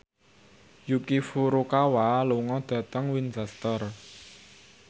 Yuki Furukawa lunga dhateng Winchester